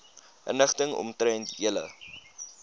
inligting omtrent julle